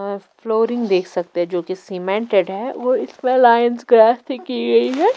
Of flooring देख सकते हैं जो कि सीमेंटेड है वो लाइंस क्रास की गई है।